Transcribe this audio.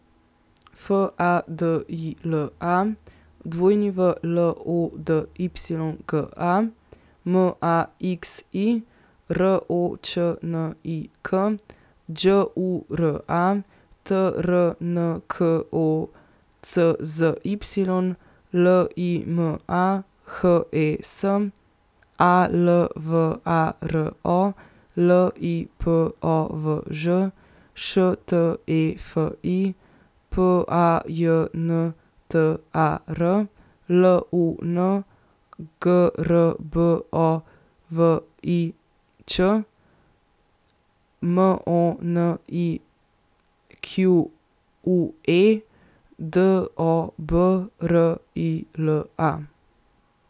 F A D I L A, W L O D Y G A; M A X I, R O Č N I K; Đ U R A, T R N K O C Z Y; L I M A, H E S; A L V A R O, L I P O V Ž; Š T E F I, P A J N T A R; L U N, G R B O V I Ć; M O N I Q U E, D O B R I L A.